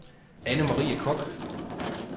Anne-Marie Koch